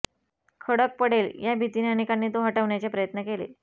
खडक पडेल या भीतीने अनेकांनी तो हटवण्याचे प्रयत्न केले